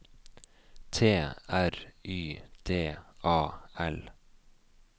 T R Y D A L